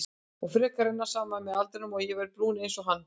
Og freknurnar renni saman með aldrinum og ég verði brún einsog hann.